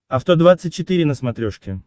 авто двадцать четыре на смотрешке